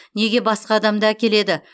неге басқа адамды әкеледі